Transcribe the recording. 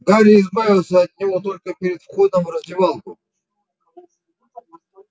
гарри избавился от него только перед входом в раздевалку